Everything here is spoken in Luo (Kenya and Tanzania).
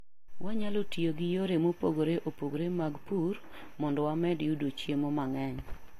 Wanyalo tiyo gi yore mopogore opogore mag pur mondo wamed yudo chiemo mang'eny.